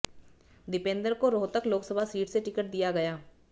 दीपेंदर को रोहतक लोकसभा सीट से टिकट दिया गया